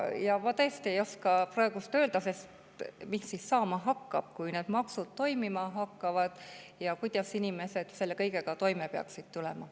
Ja ma tõesti ei oska praegu öelda, mis siis saama hakkab, kui need maksud kehtima hakkavad, ja kuidas inimesed selle kõigega toime peaksid tulema.